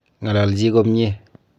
Ng'alalchi komnyie